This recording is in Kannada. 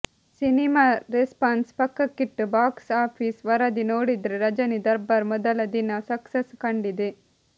ಸಿನಿಮಾ ರೆಸ್ಪಾನ್ಸ್ ಪಕ್ಕಕ್ಕಿಟ್ಟು ಬಾಕ್ಸ್ ಆಫೀಸ್ ವರದಿ ನೋಡಿದ್ರೆ ರಜನಿ ದರ್ಬಾರ್ ಮೊದಲ ದಿನ ಸಕ್ಸಸ್ ಕಂಡಿದೆ